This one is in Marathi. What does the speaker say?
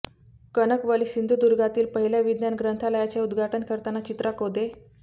कणकवली ः सिंधुदुर्गातील पहिल्या विज्ञान ग्रंथालयाचे उद्घाटन करताना चित्रा कोदे